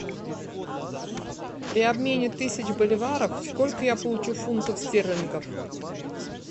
при обмене тысяч боливаров сколько я получу фунтов стерлингов